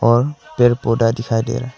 और पेड़ पौधा दिखाई दे रहा--